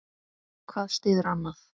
Hvað styður annað.